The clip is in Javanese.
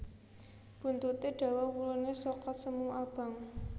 Buntuté dawa wuluné soklat semu abang